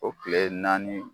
O kile naani